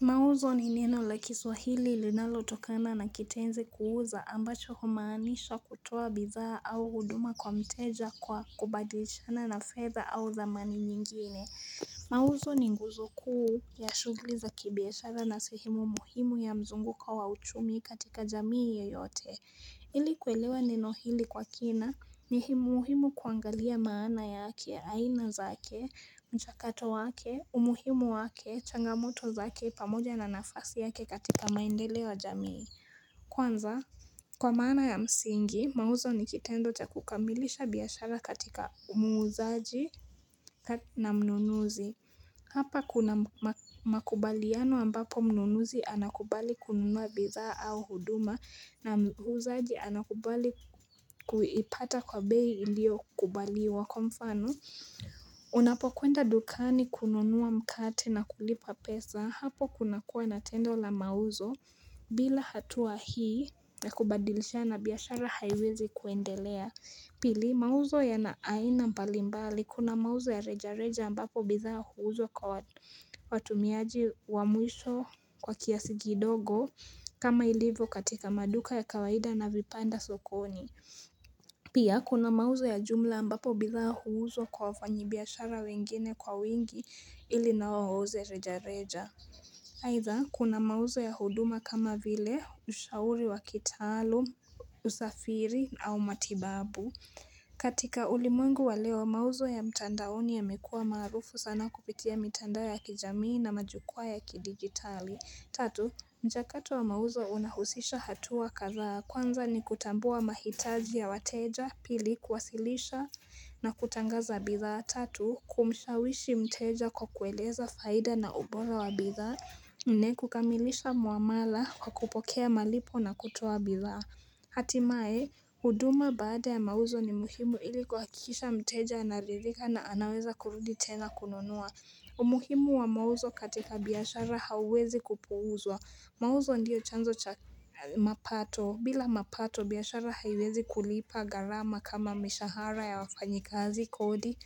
Mauzo ni neno la kiswahili ilinaloutokana na kitenzi kuuza ambacho kumaanisha kutoa bithaa au huduma kwa mteja kwa kubadilishana na fedha au thamani nyingine. Mauzo ni nguzo kuu ya shugli za kibiashara na sehemu muhimu ya mzunguko wa chumi katika jamii yoyote. Ili kwelewa neno hili kwa kina ni hii muuhimu kuangalia maana yake, aina zake, mchakato wake, umuhimu wake, changamoto zake pamoja na nafasi yake katika maendele wa jamii. Kwanza kwa maana ya msingi mauzo nikitendo chakukamilisha biyashara katika muuzaji na mnunuzi Hapa kuna makubaliano ambapo mnunuzi anakubali kununuwa bizaa au huduma na muuzaji anakubali kuipata kwa bei ilio kubaliwa kwa mfano Unapo kuenda dukani kununua mkate na kulipa pesa hapo kunakua na tendo la mauzo bila hatua hii na kubadilisha na biyashara haiwezi kuendelea Pili mauzo ya na aina mpalimbali kuna mauzo ya reja reja ambapo bithaa huuzwa kwa watumiaji wa mwisho kwa kiasi kidogo kama ilivo katika maduka ya kawaida na vipanda sokoni Pia kuna mauzo ya jumla ambapo bidhaa huuzwa kwa wafanyibiashara wengine kwa wingi ili nao huuze reja reja Haitha kuna mauzo ya huduma kama vile ushauri wa kitalum, usafiri au matibabu katika ulimuengu wa leo mauzo ya mtandaoni yamekua marufu sana kupitia mitandao ya kijamii na majukua ya kidigitali Tatu, mjakato wa mauzo unahusisha hatuwa kadhaa kwanza ni kutambua mahitaji ya wateja pili kwasilisha na kutangaza bidhaa Tatu, kumshawishi mteja kwa kueleza faida na ubola wa bidhaa nne kukamilisha muamala kwa kupokea malipo na kutuwa bidhaa Hatimae, huduma baada ya mauzo ni muhimu ili kuhakisha mteja anaridhika na anaweza kurudi tena kununua umuhimu wa mauzo katika biyashara hauwezi kupuuzwa Mauzo ndiyo chanzo cha mapato bila mapato biyashara haiwezi kulipa garama kama mishahara ya wafanyikazi kodi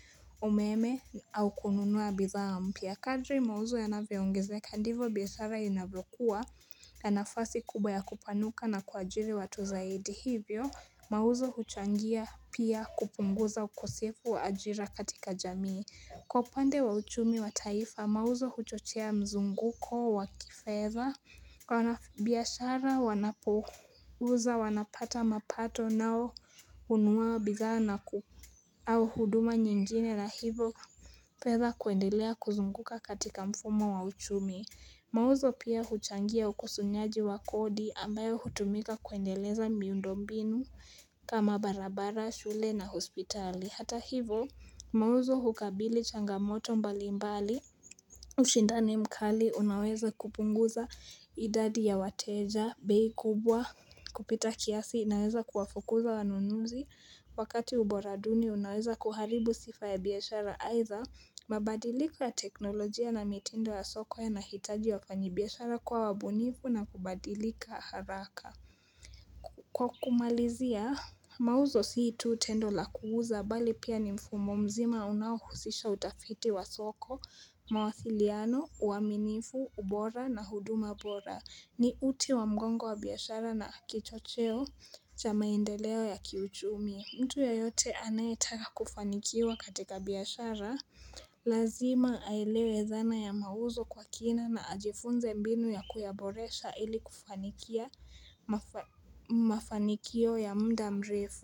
umeme au kununua bitha mpia Kadri mauzo ya naviongezeka ndivo biyashara inavokua na nafasi kubwa ya kupanuka na kuajiri watu zaidi Hivyo mauzo huchangia pia kupunguza ukosefu wa ajira katika jamii Kwa pande wa uchumi wa taifa mauzo huchochea mzunguko waki fedha Kwa biyashara wanapuza wanapata mapato nao unua bidha na ku au huduma nyingine la hivyo fedha kuendelea kuzunguka katika mfumo wa uchumi Mauzo pia huchangia ukusunyaji wa kodi ambayo hutumika kuendeleza miundombinu kama barabara shule na hospitali hata hivyo Mauzo hukabili changamoto mbali mbali ushindani mkali unaweza kupunguza idadi ya wateja Behi kubwa kupita kiasi unaweza kuwafukuza wanunuzi Wakati ubora duni unaweza kuharibu sifa ya biyashara aitha mabadiliko ya teknolojia na mitindo ya soko yanahitaji wafanyi biyashara kuwa wabunivu na kubadilika haraka Kwa kumalizia Mauzo situ tendo la kuuza bali pia ni mfumo mzima unaohusisha utafiti wa soko, mawasiliano, uaminifu, ubora na huduma bora. Ni uti wa mgongo wa biyashara na kichocheo cha maendeleo ya kiuchumi. Mtu yeyote anayetaka kufanikiwa katika biyashara. Lazima aelewe dhana ya mauzo kwa kina na ajifunze mbinu ya kuyaboresha ili kufanikia mafanikio ya mda mrefu.